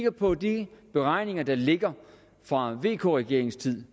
på de beregninger der ligger fra vk regeringens tid